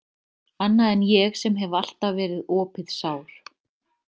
Annað en ég sem hef alltaf verið opið sár.